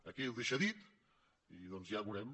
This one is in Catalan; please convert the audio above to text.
aquí ho deixa dit i doncs ja ho veurem